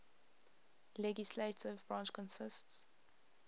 legislative branch consists